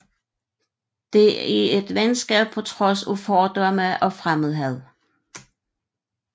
Det er et venskab på trods af fordomme og fremmedhad